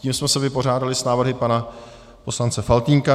Tím jsme se vypořádali s návrhy pana poslance Faltýnka.